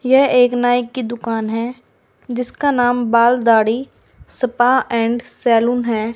यह एक नाई की दुकान है जिसका नाम बाल दाढ़ी स्पा एंड सैलून है।